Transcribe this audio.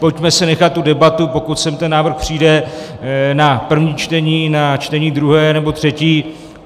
Pojďme si nechat tu debatu, pokud sem ten návrh přijde, na první čtení, na čtení druhé nebo třetí.